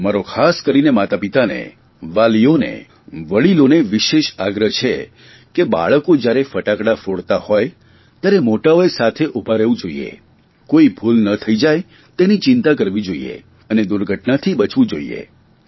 મારે ખાસ કરીને માતાપિતાને વાલીઓને વડિલોને વિશેષ આગ્રહ છે કે બાળકો જયારે ફટાકડા ફોડતાં હોય ત્યારે મોટાંઓએ સાથે ઉભાં રહેવું જોઇએ કોઇ ભૂલ ના થઇ જાય તેની ચિંતા કરવી જોઇએ અને દુર્ઘટનાથી બચવું જોઇએ